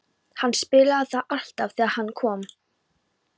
Hann spilaði það alltaf þegar hann kom.